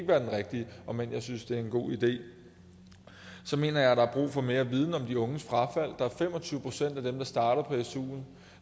være den rigtige om end jeg synes det er en god idé så mener jeg der er brug for mere viden om de unges frafald der er fem og tyve procent af dem der starter på stuen